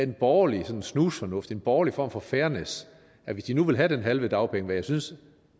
borgerlig snusfornuft en borgerlig form for fairness at hvis de nu ville have den halve dagpengesats